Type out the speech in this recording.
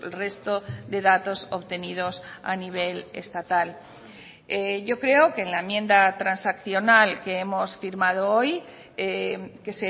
resto de datos obtenidos a nivel estatal yo creo que en la enmienda transaccional que hemos firmado hoy que